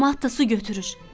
Camaat da su götürür.